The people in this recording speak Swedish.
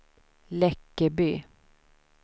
Läckeby